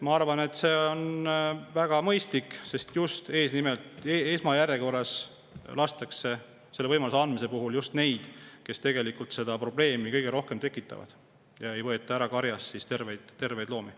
Ma arvan, et see on väga mõistlik, sest selle võimaluse andmise puhul lastakse esmajärjekorras just neid, kes tegelikult kõige rohkem probleeme tekitavad, ega võeta karjast ära terveid loomi.